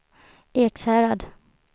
Ekshärad